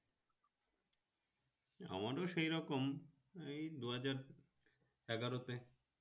আমারও সেই রকম এই দুহাজার এগারো তে